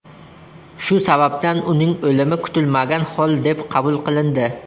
Shu sababdan uning o‘limi kutilmagan hol deb qabul qilindi.